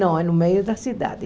Não, é no meio da cidade.